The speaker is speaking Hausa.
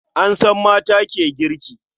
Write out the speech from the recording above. An san mata ke girki.